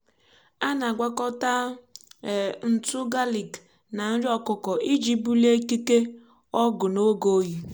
um a na-agwakọta um ntụ galiki na nri ọkụkọ iji um bulie ikike ọgụ n’oge oyi.